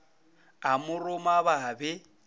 a mo roma ba be